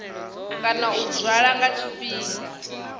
kona u dzwala nga tshifhinga